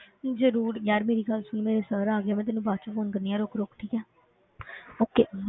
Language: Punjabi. ਜ਼ਰੂਰ ਯਾਰ ਮੇਰੀ ਗੱਲ ਸੁਣ ਮੇਰੇ sir ਆ ਗਏ, ਮੈਂ ਤੈਨੂੰ ਬਾਅਦ ਵਿੱਚ phone ਕਰਦੀ ਹਾਂ ਰੁੱਕ ਰੁੱਕ ਠੀਕ ਹੈ okay